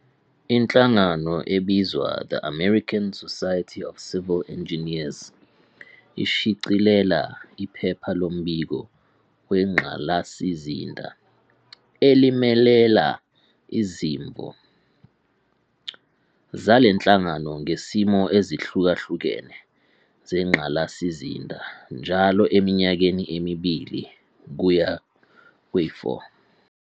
Inhlangano ebizwa "The American Society of Civil Engineers" ishicilela 'iPhepha loMbiko weNgqalasizinda' elimelela izimvo zalenhlangano ngesimo ezihlukahlukene zengqalasizinda njalo eminyakeni emibili kuya kwe-4.